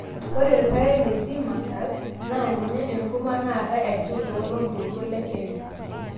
ore irpaek Le( Zea masL) naa ninye enkurma naatae aisul toloontoluo Le kenya